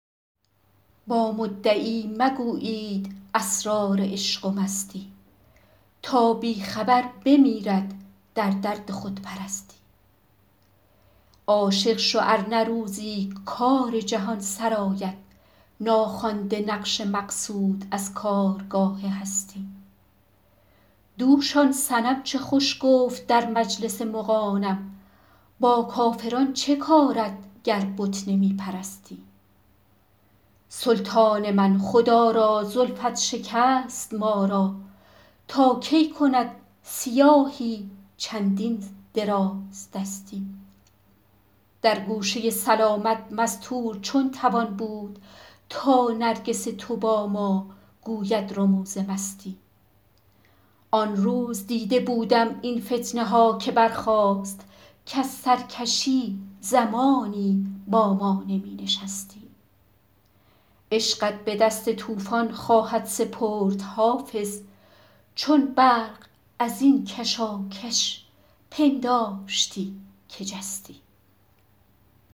با مدعی مگویید اسرار عشق و مستی تا بی خبر بمیرد در درد خودپرستی عاشق شو ار نه روزی کار جهان سرآید ناخوانده نقش مقصود از کارگاه هستی دوش آن صنم چه خوش گفت در مجلس مغانم با کافران چه کارت گر بت نمی پرستی سلطان من خدا را زلفت شکست ما را تا کی کند سیاهی چندین درازدستی در گوشه سلامت مستور چون توان بود تا نرگس تو با ما گوید رموز مستی آن روز دیده بودم این فتنه ها که برخاست کز سرکشی زمانی با ما نمی نشستی عشقت به دست طوفان خواهد سپرد حافظ چون برق از این کشاکش پنداشتی که جستی